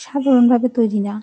ছাধারন ভাবে তৈরি না।